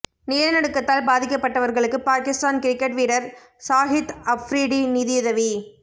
நிலநடுக்கத்தால் பாதிக்கப்பட்டவர்களுக்கு பாகிஸ்தான் கிரிக்கெட் வீரர் ஷாஹித் அஃப்ரிடி நிதியுதவி